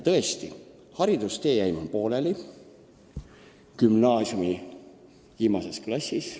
Tõesti, haridustee jäi mul pooleli gümnaasiumi viimases klassis.